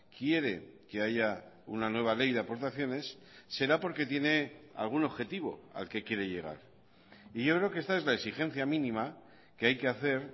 quiere que haya una nueva ley de aportaciones será porque tiene algún objetivo al que quiere llegar y yo creo que esta es la exigencia mínima que hay que hacer